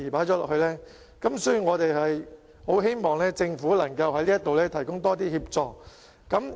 因此，我們很希望政府在這方面能夠提供更多協助。